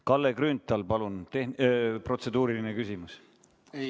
Kalle Grünthal, palun, tehn ... protseduuriline küsimus!